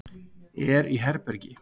Er í herbergi.